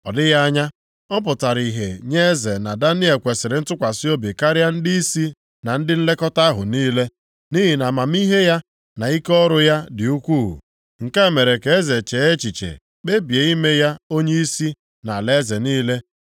Ọ dịghị anya, ọ pụtara ihe nye eze na Daniel kwesiri ntụkwasị obi karịa ndịisi na ndị nlekọta ahụ niile. Nʼihi na amamihe ya, na ike ọrụ ya dị ukwuu. Nke a mere ka eze chee echiche kpebie ime ya onyeisi nʼalaeze niile.